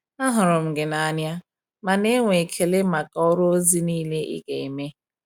A hụrụ m gị n’anya ma na-enwe ekele maka ọrụ ozi niile ị na-eme.